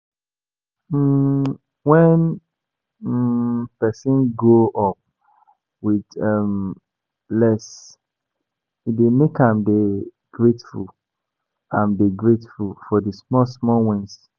um When um person grow up with um less, e dey make am dey grateful am dey grateful for di small small wins